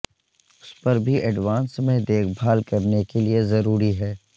اس پر بھی ایڈوانس میں دیکھ بھال کرنے کے لئے ضروری ہے